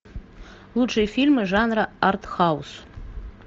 лучшие фильмы жанра артхаус